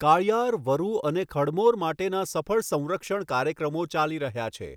કાળિયાર, વરુ અને ખડમોર માટેના સફળ સંરક્ષણ કાર્યક્રમો ચાલી રહ્યા છે.